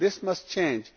This must change.